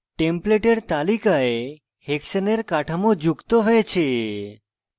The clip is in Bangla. template এর তালিকায় hexane এর কাঠামো যুক্ত হয়েছে